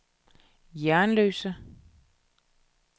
Jernløse